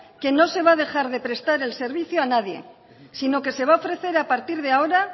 que no se va a dejar de prestar el servicio a nadie sino que se va a ofrecer a partir de ahora